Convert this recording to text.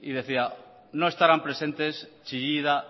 y decía no estarán presentes chillida